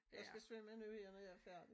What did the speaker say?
Jeg skal svømme nu her når jeg er færdig